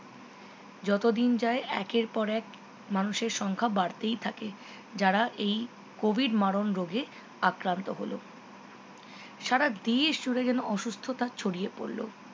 যত দিন যায় একের পর এক মানুষের সংখ্যা বাড়তেই থাকে যারা এই covid মারণ রোগে আক্রান্ত হলো সারা দেশ জুড়ে যেন অসুস্থতা ছড়িয়ে পড়লো